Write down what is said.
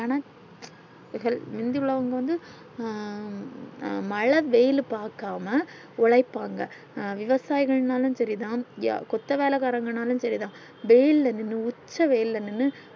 என்னா healthy முந்தி உள்ளவங்க வந்து ஆஹ் மழை வெயில் பாக்கம்மா ஒலைப்பாங்க விவசாயங்கள் இன்னாலும் சரி தான் கொத்த வேலகாரன்கனாளும் சரி தான் வெயில் நின்னு உச்ச வெயில் நின்னு